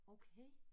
Okay